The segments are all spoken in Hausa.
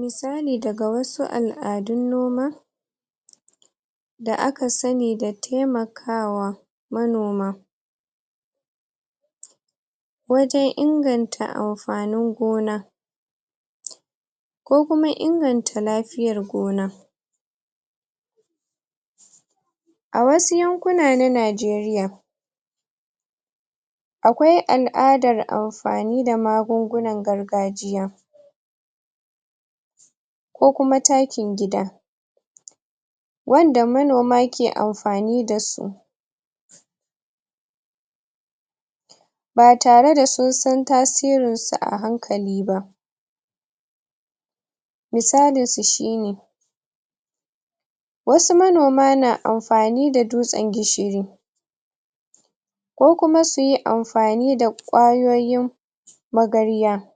misali daga wasu al'adun noma da aka sanni da taimakawa manoma wajen inganta am fanin gona ko kuma inganta lafiyar gona a wasu yankuna na najeriya akwai al'adar am.. fani da magungunan gargajiya ko kuma takin gida wanda manoma ke amfani dasu ba tare da sun san tasirin su a hankali ba misalin su shi ne wasu manoma na amfani da dutsen gishiri ko kuma suyi amfani da ƙwayoyin magarya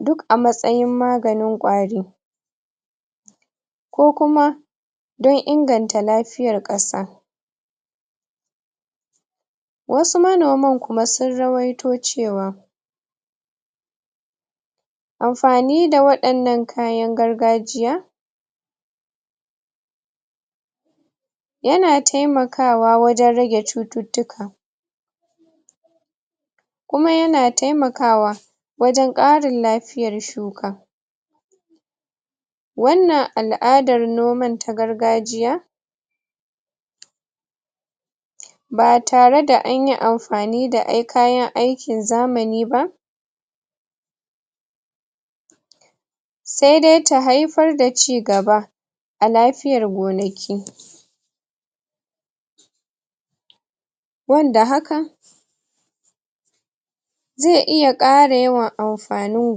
duk a matsayin maganin ƙwari ko kuma don inganta lafiyar ƙasa wasu manoman kuma sun rawaito cewa amfani da waɗannan kayan gargajiya yana taimakawa wajen rage cututtuka kuma yana taimakawa wajen ƙarin lafiyar shuka wannan al'adar noman ta gargajiya ba tare da anyi amfani da ai kayan ai kin zamani ba sai dai ta haifar da cigaba a lafiyar gonaki wanda haka zai iya ƙara yawa amfanin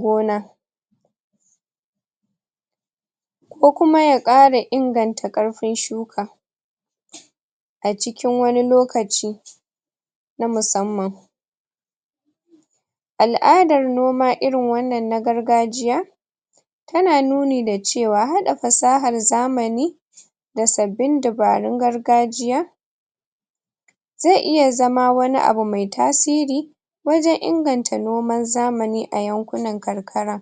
gona ko kuma ya ƙara inganta ƙarfin shuka acikin wani lokaci na musamman al'adar noma irin wannan na gargajiya yana nuni cewa haɗa fasahar zamani da sabbin dabarun gargajiya zai iya zama wani abu mai tasiri wajen inganta noman zamani a yankunan karkara.